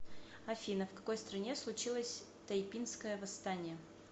афина в какой стране случилось тайпинское восстание